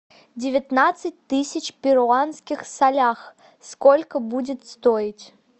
девятнадцать тысяч перуанских солях сколько будет стоить